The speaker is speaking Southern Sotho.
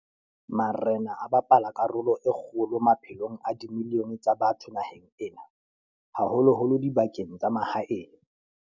Marena a bapala karolo e kgolo maphelong a dimilione tsa batho naheng ena, haholo-holo dibakeng tsa mahaeng.